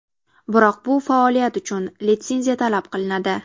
Biroq bu faoliyat uchun litsenziya talab qilinadi.